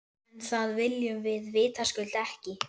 En það viljum við vitaskuld ekki.